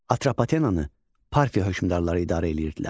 Atropatenanı Parfiya hökmdarları idarə eləyirdilər.